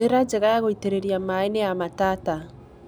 njĩra njega ya gũĩtĩrĩria maaĩ ni ya matata